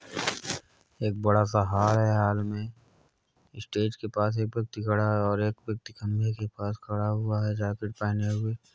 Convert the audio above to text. एक बडा सा हार है हाल में स्टेज के पास एक व्यक्ति खड़ा है और एक व्यक्ति खम्भे के पस खड़ा हुआ है जैकेट पहने हुए।